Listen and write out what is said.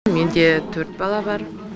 менде төрт бала бар